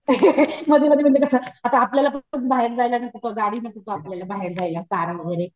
मधी मधी म्हणजे कसं आता आपल्याला बाहेर जायला गाडी नको का आपल्याला बाहेर जायला कार वगैरे.